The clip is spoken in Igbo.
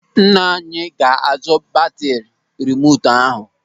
Nna anyị ga-azụ batri rimotu ahụ.